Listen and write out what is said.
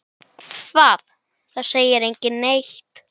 Hvað, það segir enginn neitt.